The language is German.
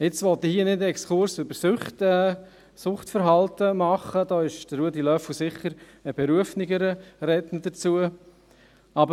Ich will hier nun keinen Exkurs über Süchte, über Suchtverhalten machen, dafür wäre Ruedi Löffel der berufenere Redner.